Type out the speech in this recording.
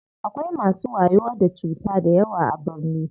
Akwai masu wayo da cuta dayawa a birni.